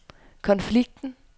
konflikten